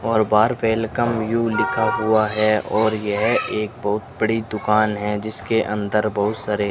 और बाहर welcome you लिखा हुआ है और यह एक बहुत बड़ी दुकान है जिसके अंदर बहुत सारे --